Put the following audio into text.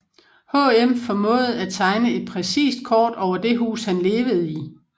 HM formåede at tegne et præcist kort over det hus han levede i